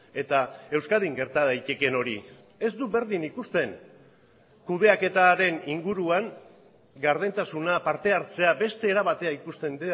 eta euskadin gerta daiteken hori ez du berdin ikusten kudeaketaren inguruan gardentasuna parte hartzea beste era batera ikusten